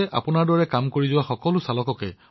ambulance চলোৱা সকলো চালকে